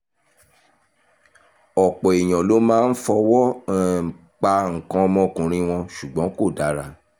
ọ̀pọ̀ èèyàn ló máa ń fọwọ́ um pa nǹkan ọmọkùnrin wọn ṣùgbọ́n kò dára